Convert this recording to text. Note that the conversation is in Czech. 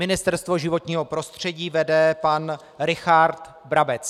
Ministerstvo životního prostředí vede pan Richard Brabec.